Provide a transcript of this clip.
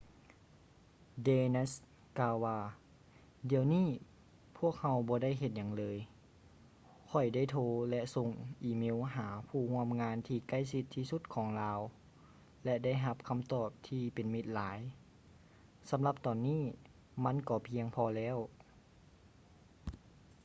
danius ກ່າວວ່າ ດຽວນີ້ພວກເຮົາບໍ່ໄດ້ເຮັດຫຍັງເລີຍ ຂ້ອຍໄດ້ໂທ ແລະ ສົ່ງອີເມວຫາຜູ້ຮ່ວມງານທີ່ໃກ້ຊິດທີ່ສຸດຂອງລາວ ແລະ ໄດ້ຮັບຄຳຕອບທີ່ເປັນມິດຫຼາຍ ສຳລັບຕອນນີ້ມັນກໍພຽງພໍແລ້ວ